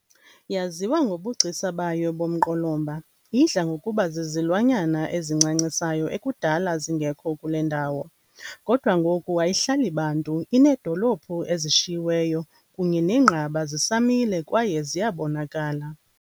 Yaziwa ngobugcisa bayo bomqolomba idla ngokuba zizilwanyana ezincancisayo ekudala zingekho kule ndawo, kodwa ngoku ayihlali bantu, ineedolophu ezishiyiweyo kunye neenqaba zisamile kwaye ziyabonakala.